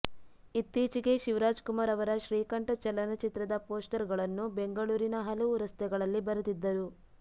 ಇತ್ತೀಚಿಗೆ ಶಿವರಾಜ್ ಕುಮಾರ್ ಅವರ ಶ್ರೀಕಂಠ ಚಲನಚಿತ್ರದ ಪೋಸ್ಟರ್ಗಳನ್ನು ಬೆಂಗಳೂರಿನ ಹಲವು ರಸ್ತೆಗಳಲ್ಲಿ ಬರೆದಿದ್ದರು